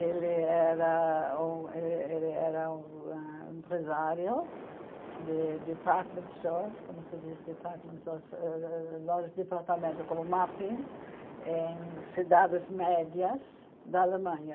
Ele era um eh ele era um hã empresário de department stores, como se diz department stores, êh êh lojas de departamento, como mapping, em cidades médias da Alemanha.